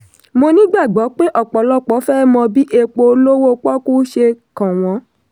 mo nígbàgbọ́ pé ọpọlọpọ fẹ́ mọ bí epo olówó pọ́kú ṣe kàn wọn.